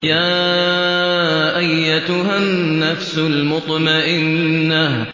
يَا أَيَّتُهَا النَّفْسُ الْمُطْمَئِنَّةُ